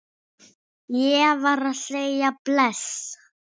Ég varð að segja bless.